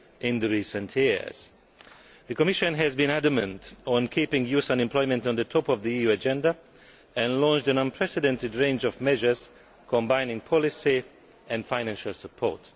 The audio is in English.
in recent years. The Commission has been adamant about keeping youth unemployment at the top of the EU agenda and launched an unprecedented range of measures combining policy and financial support.